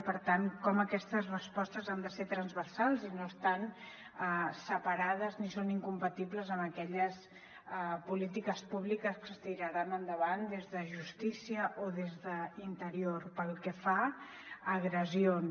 i per tant com aquestes respostes han de ser transversals i no estan separades ni són incompatibles amb aquelles polítiques públiques que es tiraran endavant des de justícia o des d’interior pel que fa a agressions